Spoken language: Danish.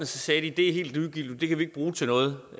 sagde de det er helt ligegyldigt det kan vi ikke bruge til noget